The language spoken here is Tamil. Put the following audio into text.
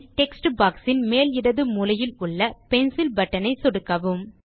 பின் டெக்ஸ்ட் பாக்ஸ் இன் மேல் இடது மூலையில் உள்ள பென்சில் பட்டன் ஐ சொடுக்கவும்